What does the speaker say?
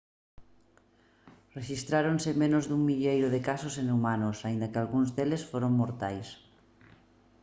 rexistráronse menos dun milleiro de casos en humanos aínda que algúns deles foron mortais